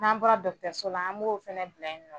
N'an bɔra dɔgɔtɔrɔso la an b'o fana bila yen nɔ